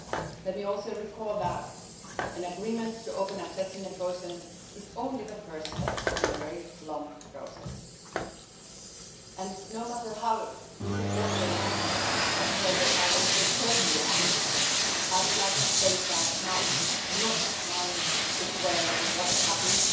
Let me also recall that an agreement to open accession negotiations is only the first step in a very long process and, no matter how disappointed and frustrated I am personally, I would like to state that now is not the time to dwell on what happened